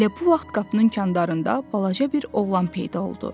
Elə bu vaxt qapının kənarında balaca bir oğlan peyda oldu.